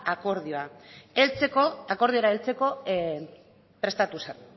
akordiora heltzeko